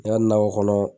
Ne ka nakɔ kɔnɔ